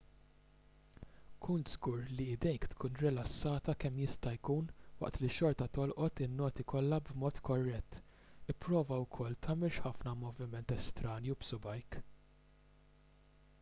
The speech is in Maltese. kun żgur li jdejk tkun rilassata kemm jista' jkun waqt li xorta tolqot in-noti kollha b'mod korrett ipprova wkoll tagħmilx ħafna moviment estranju b'subgħajk